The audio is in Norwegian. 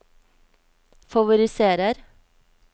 favoriserer